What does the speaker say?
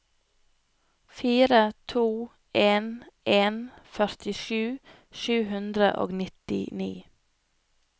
fire to en en førtisju sju hundre og nittini